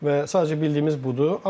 Və sadəcə bildiyimiz budur.